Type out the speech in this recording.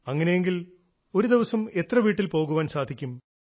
അങ്ങനെയെങ്കിൽ ഒരു ദിവസം എത്ര വീട്ടിൽ പോകാൻ സാധിക്കും